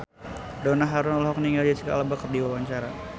Donna Harun olohok ningali Jesicca Alba keur diwawancara